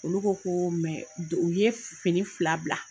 Olu ko ko u ye fini fila bila.